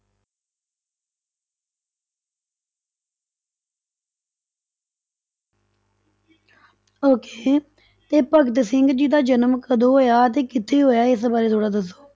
Okay ਤੇ ਭਗਤ ਸਿੰਘ ਜੀ ਦਾ ਜਨਮ ਕਦੋਂ ਹੋਇਆ ਅਤੇ ਕਿੱਥੇ ਹੋਇਆ, ਇਸ ਬਾਰੇ ਥੋੜ੍ਹਾ ਦੱਸੋ।